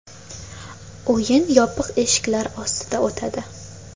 O‘yin yopiq eshiklar ostida o‘tadi.